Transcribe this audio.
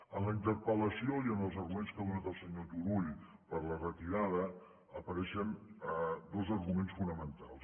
en la interpel·lació i en els arguments que ha donat el senyor turull per a la retirada apareixen dos arguments fonamentals